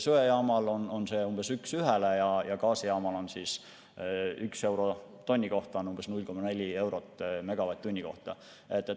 Söejaamal on see umbes üks ühele ja gaasijaamal on umbes 0,4 eurot megavatt-tunni kohta.